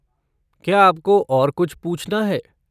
क्या आपको और कुछ पूछना है?